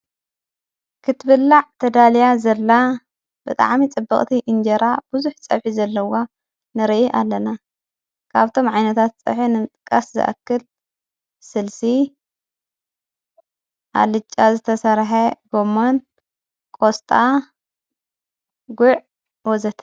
ክትብላዕ ተዳልያ ዘላ ብጥዓሚ ጽበቕቲ ኢንጀራ ብዙኅ ፀብሒ ዘለዋ ንርኢ ኣለና ካብቶም ዓይነታት ጽሕ እምጥቃስ ዝኣክል ሥልሲ ኣልጫ ዘተሠርሐ ገሞን ቆስጣ ጕዕ ወዘተ።